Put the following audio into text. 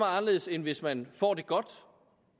anderledes end hvis man får det godt